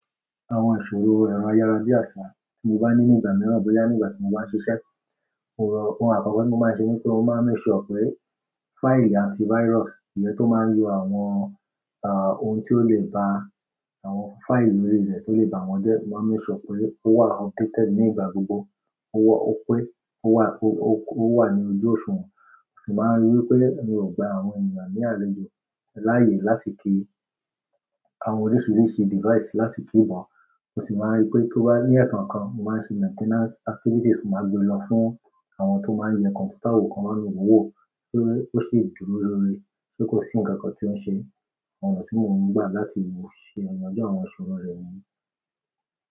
Àwọn ìṣòro ẹ̀rọ ayárabiàsà tí mo bá ní nígbà mìíràn bóyá nígbà tí mo bá ń ṣiṣẹ́. Ohun àkọkọ̀ tí mo máa ń ṣe ni pé mo máa ń make sure pé fáìlì antivirus, ìyẹ́ tó máa ń yọ àwọn, ah, ohun tí ó lè ba àwọn fáìlì orí rẹ̀ tó lè ba wọn jẹ́, mo máa ń make sure pé ó wà updated nígbà gbogbo. Ó wọ́, ó pé, ó wà, ó, ó wà ní ojú òṣùwọ̀n. Mo sì máa ń rí wi pé mi ò gba àwọn ènìyàn ní àlejò láàyè láti kí àwọn oríṣiríṣi device láti kí bọ. Mo sì máa ń rí i pé tó bá ní ẹ̀ẹ̀kan kan, mo máa ń ṣe maintenance activities, mo máa gbé lọ fún àwọn tó máa ń yẹ kọ̀m̀pútà wò kan bami wo wò ó ṣe dúró lórí, ṣe kò sí nǹkan kan tí ó ń ṣe. Àwọn ọ̀nà tí mo ń gbà láti ṣe igbiyanju àwọn ìṣòro rẹ̀ niyen.